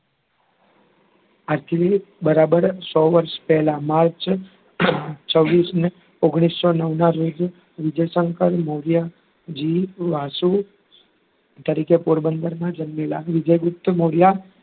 આજથી બરાબર સો વર્ષ પહેલાં માર્ચ છ્વીશ ને ઓગણીસો નવ ના રોજ વિજય શંકર મોર્યજી વાસુ તરીકે પોરબંદરમાં જન્મેલાં વિજય ગુપ્ત મોર્યા,